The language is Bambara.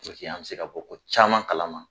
Purke an bɛ se ka bɔ ko caman kala ma.